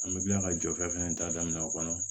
An bɛ kila ka jɔfɛ fana ta daminɛ o kɔnɔ